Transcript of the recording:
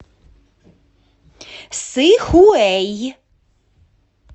сыхуэй